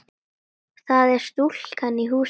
Það er stúlkan í húsinu.